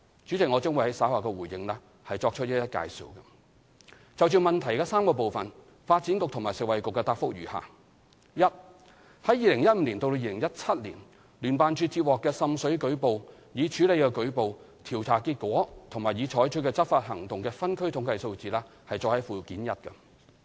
主席，我將於稍後回應時作出介紹。就質詢的3個部分，發展局及食物及衞生局的答覆如下：一於2015年至2017年，聯辦處接獲的滲水舉報、已處理的舉報、調查結果和已採取的執法行動的分區統計數字載於附件一。